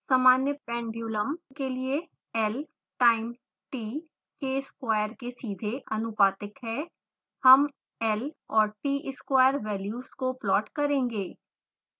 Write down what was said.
सामान्य pendulum के लिए l time t के square के सीधे आनुपातिक है